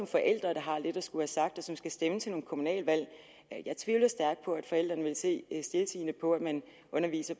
forældre der har lidt at skulle have sagt og som skal stemme til nogle kommunalvalg jeg tvivler stærkt på at forældrene vil se stiltiende på at man underviser